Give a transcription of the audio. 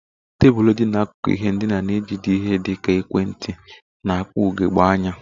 Tebụl dị n'akụkụ ihe ndina na-ejide ihe dị ka ekwentị na akpa ugogbe anya.